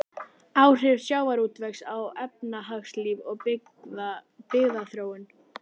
Áhrif sjávarútvegs á efnahagslíf og byggðaþróun.